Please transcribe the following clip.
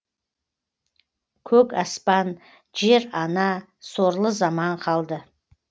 көк аспан жер ана сорлы заман қалды